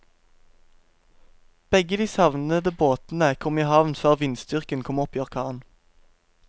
Begge de savnede båtene kom i havn før vindstyrken kom opp i orkan.